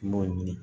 N b'o ɲini